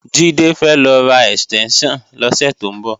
Jídé fẹ́ lọ ra ẹ̀stẹ́ńṣàn lọ́sẹ̀ tó ń bọ̀